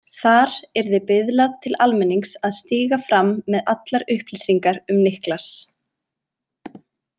Þar yrði biðlað til almennings að stíga fram með allar upplýsingar um Niklas.